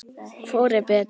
Hvor er betri?